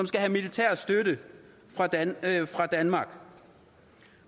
skal have militær støtte fra danmark